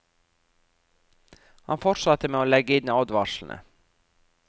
Han fortsatte med å legge inn advarslene.